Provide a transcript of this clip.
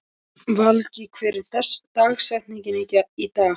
Valgý, hver er dagsetningin í dag?